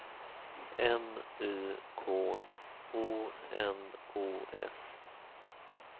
M Y K O N O S